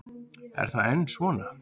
Er það enn svo?